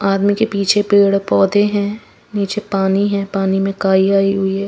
आदमी के पीछे पेड़ पौधे हैं नीचे पानी है पानी में काई आई हुई है।